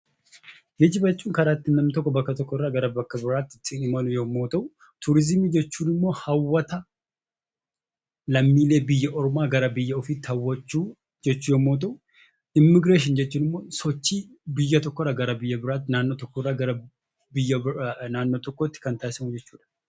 Geejjiba jechuun karaa ittiin namni tokko bakka tokko irraa gara bakka biraatti ittiin imalu yommuu ta'u, turiizimii jechuun immoo hawwata lammiilee biyya biraa gara biyya ofiitti hawwachuu jechuu yeroo ta'u, immigireeshinii jechuun immoo sochii biyya tokko irraa biyya biraatti, naannoo tokko irraa gara naannoo biraatti taasifamu jechuudha.